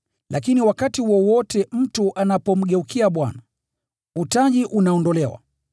Lakini wakati wowote mtu anapomgeukia Bwana, utaji unaondolewa.